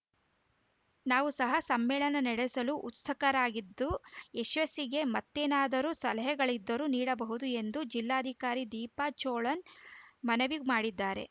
ನಾವು ಸಹ ಸಮ್ಮೇಳನ ನಡೆಸಲು ಉತ್ಸುಕರಾಗಿದ್ದು ಯಶಸ್ಸಿಗೆ ಮತ್ತೇನಾದರೂ ಸಲಹೆಗಳಿದ್ದರೂ ನೀಡಬಹುದು ಎಂದು ಜಿಲ್ಲಾಧಿಕಾರಿ ದೀಪಾ ಚೋಳನ್‌ ಮನವಿ ಮಾಡಿದರೆ